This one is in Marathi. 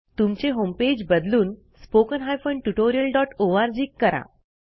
तुमचे होमपेज बदलून spoken tutorialओआरजी करा